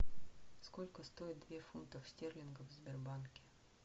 сколько стоит две фунтов стерлингов в сбербанке